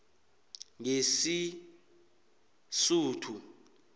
ngesisuthu